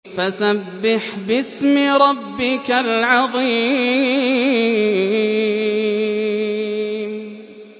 فَسَبِّحْ بِاسْمِ رَبِّكَ الْعَظِيمِ